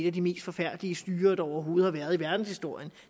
af de mest forfærdelige styrer der overhovedet har været i verdenshistorien